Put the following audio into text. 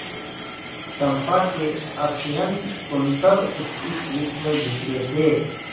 चंपा के असंयत कुंतल उसकी पीठ पर बिखरे थे